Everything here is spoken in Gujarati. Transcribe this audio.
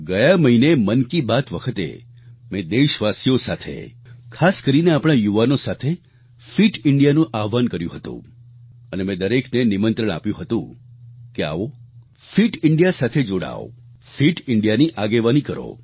ગયા મહિને મન કી બાત વખતે મેં દેશવાસીઓ સાથે ખાસ કરીને આપણા યુવાનો સાથે ફિટ ઈન્ડિયાનું આહ્વાન કર્યું હતું અને મેં દરેકને નિમંત્રણ આપ્યું હતુ કે આવો ફિટ ઇન્ડિયા સાથે જોડાવ ફિટ ઇન્ડિયાની આગેવાની કરો